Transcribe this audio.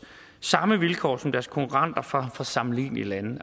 samme vilkår som deres konkurrenter fra sammenlignelige lande